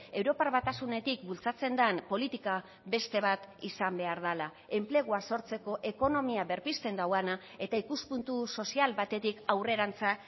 europar batasunetik bultzatzen den politika beste bat izan behar dela enplegua sortzeko ekonomia berpizten duena eta ikuspuntu sozial batetik aurrerantza